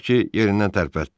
Tutaq ki, yerindən tərpətdi.